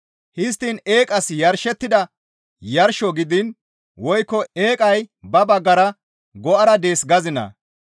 Histtiin eeqas yarshettida yarsho gidiin woykko eeqay ba baggara go7ara dees gazinaa?